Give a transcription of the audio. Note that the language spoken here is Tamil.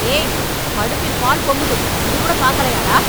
ஏய், அடுப்பில் பால் பொங்குது, இது கூட பாக்கலையா, டா ?